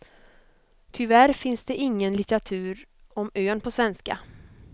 Tyvärr finns det ingen litteratur om ön på svenska.